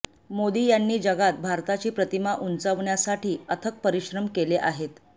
मोदी यांनी जगात भारताची प्रतिमा उंचावण्यासाठी अथक परिशम केले आहेत